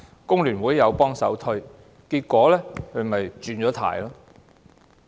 工聯會也幫忙推銷，結果她"轉軚"。